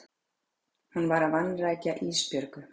Hún að vanrækja Ísbjörgu.